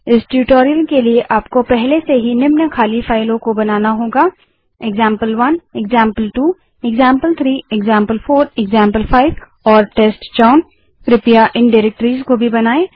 इस ट्यूटोरियल के लिए आप को पहले से ही example one example two example three example four example five और टेस्टचाउन के रूप में नामित खाली फाइलों को बनाना होगा